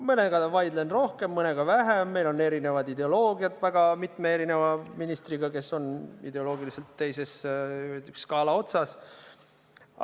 Mõnega vaidlen rohkem, mõnega vähem, meil on erinevad ideoloogiad väga mitme ministriga, kes on ideoloogiliselt teises skaala otsas.